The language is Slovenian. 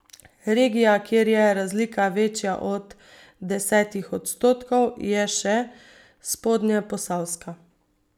Regija, kjer je razlika večja od desetih odstotkov, je še spodnjeposavska.